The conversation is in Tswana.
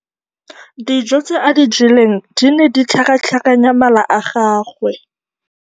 Dijô tse a di jeleng di ne di tlhakatlhakanya mala a gagwe.